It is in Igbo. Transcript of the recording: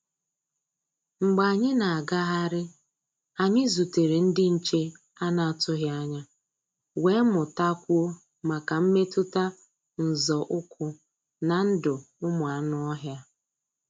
Mgbé ànyị́ ná-àgáhárí, ànyị́ zútèré ndí nché à nà-àtụghí ányá, wéé mụ́tá kwúó máká mmétụ́tá nzọ́ ụ́kwụ́ ná ndụ́ ụ́mụ́ ànụ́-ọ́hịá.